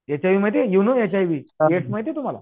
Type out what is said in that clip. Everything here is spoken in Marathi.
एच आय व्ही म्हणजे you know H I V AIDS माहिती ये तुम्हाला